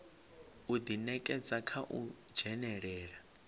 u ḓinekedza kha u dzhenelela